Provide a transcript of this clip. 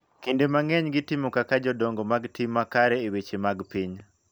Kinde mang�eny gitimo kaka jodongo mag tim makare e weche mag piny.